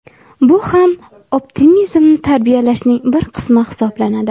Bu ham optimizmni tarbiyalashning bir qismi hisoblanadi.